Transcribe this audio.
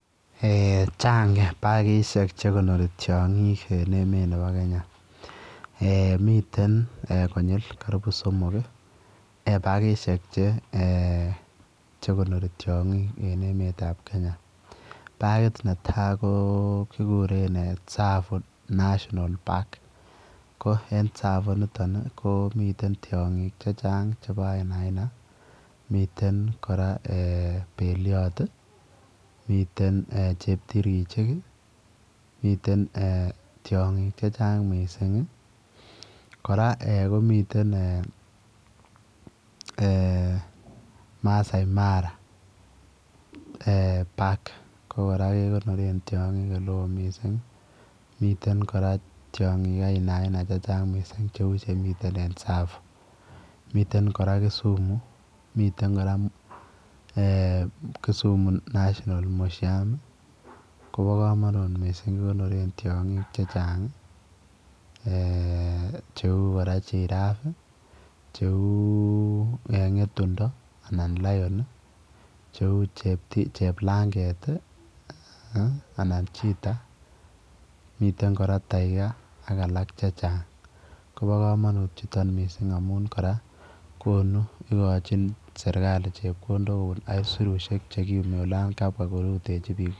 Eeh chaang pakisheek che konorii tiangiik en emeet ab Kenya eeh eeh konyil karibu somok ii eeh pakisheek che konorii tiangiik en emeet ab Kenya pakiit pakit ne tai kegureen [tsavo national park] ko en tsavo initoon ii komii tiangiik che chaang che bo ainai aina miten kora beliot ii miten eeh cheptirkichiik ii eeh miten eeh tiangiik che chaang missing ii kora eeh komiteen ii eeh Masai mara park ko kora kegonoreen tiangik ole wooh missing ii miten kora tiangik aina aina Missing che uu chemiten en tsavo miten kora Kisumu miten kora kora Kisumu national museum ii kobaa kamanuut missing kikonoreen tiangiik che chaang ii eeh che uu kora [giraffe] che uu kora ngetundo anan [lion] che uu kora cheplangeet ii anan [cheetah] miten kora [tiger] ak alaak che chaang koba kamanuut kora amuun igochiinn serikali chepkondook kobuun aisirusiek che ki yumii olaan kabwaa koruteji biik.